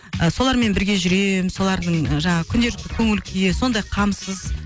і солармен бірге жүремін солардың ы жаңағы күнделікті көңіл күйі сондай қамсыз